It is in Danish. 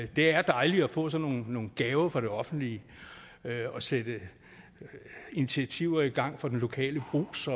det er dejligt at få sådan nogle gaver fra det offentlige og sætte initiativer i gang for den lokale brugs